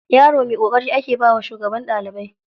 Yaro mai ƙoƙari ake bawa shugaban ɗalibai.